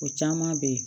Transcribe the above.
O caman bɛ yen